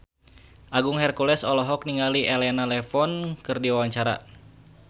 Agung Hercules olohok ningali Elena Levon keur diwawancara